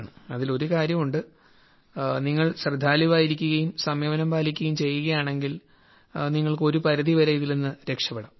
അതിൽ ഒരുകാര്യമുണ്ട് നിങ്ങൾ ശ്രദ്ധാലുവായിരിക്കുകയും സംയമനം പാലിക്കുകയും ചെയ്യുകയാണെങ്കിൽ നിങ്ങൾക്ക് ഇതിൽ നിന്ന് ഒരു പരിധിവരെ രക്ഷപ്പെടാം